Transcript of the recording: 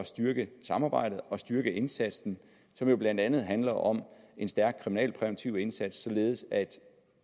styrke samarbejdet og styrke indsatsen som jo blandt andet handler om en stærk kriminalpræventiv indsats således at